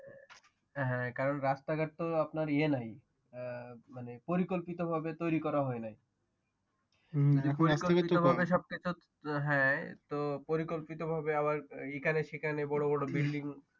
কারণ রাস্তাঘাট তো আপনার ইয়ে মানে নাই পরিকল্পিতভাবে তৈরি করা হয়নাই এখন হ্যাঁ পরিকল্পিতভাবে আাবার এইখানে সেইখানে বড় বড় Building